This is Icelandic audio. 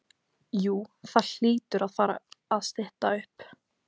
Jú það hlýtur að fara að stytta upp.